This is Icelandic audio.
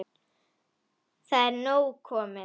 Það er nóg komið.